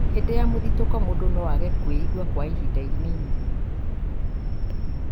hĩndĩ ya mũthitũko, mũndũ no aage kwĩigua kwa ihinda inini